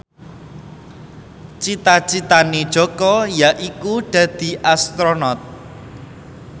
cita citane Jaka yaiku dadi Astronot